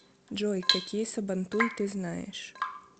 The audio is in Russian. джой какие сабантуй ты знаешь